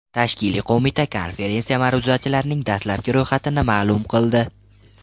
Tashkiliy qo‘mita konferensiya ma’ruzachilarining dastlabki ro‘yxatini ma’lum qildi.